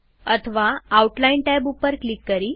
અથવા outline tab ઉપર click કરી